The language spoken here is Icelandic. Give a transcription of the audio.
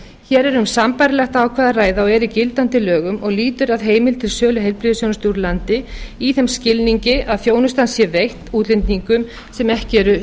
hér er um sambærilegt ákvæði að ræða og er í gildandi lögum og lýtur að heimild til sölu heilbrigðisþjónustu úr landi í þeim skilningi að þjónustan sé veitt útlendingum sem ekki eru